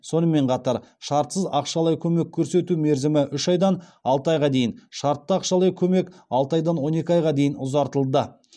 сонымен қатар шартсыз ақшалай көмек көрсету мерзімі үш айдан алты айға дейін шартты ақшалай көмек алты айдан он екі айға дейін ұзартылды